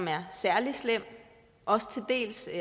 er særlig slemt og til dels